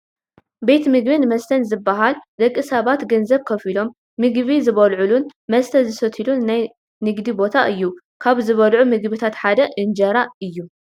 ቤት ምግብን መስተን ዝባሃል ደቂ ሰባት ገንዘብ ከፊሎም ምግቢ ዝበልዑሉን መስተ ዝሰትዩሉን ናይ ግንዲ ቦታ እዩ፡፡ ካብ ዝብልዑ ምግብታት ሓደ እንጀራ እዩ፡፡